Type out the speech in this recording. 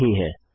यह नहीं है